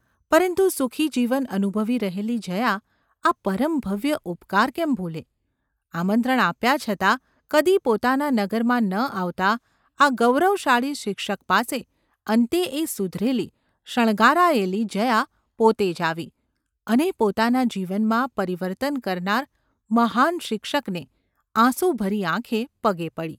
પરંતુ સુખી જીવન અનુભવી રહેલી જયા આ પરમ ભવ્ય ઉપકાર કેમ ભૂલે ? આમંત્રણ આપ્યા છતાં કદી પોતાના નગરમાં ન આવતા આ ગૌરવશાળી શિક્ષક પાસે અંતે એ સુધરેલી શણગારાયેલી જયા પોતે જ આવી, અને પોતાના જીવનમાં પરિવર્તન કરનાર મહાન શિક્ષકને આંસુભરી આંખે પગે પડી.